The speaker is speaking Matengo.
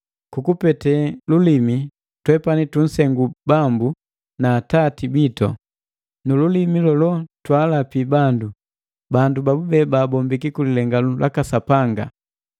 Kukupete lulimi twepani tunsengu Bambu na Atati bitu. Nu lulimi lolo twaalapi bandu, bandu babube baabombiki ku lilenganu laka Sapanga.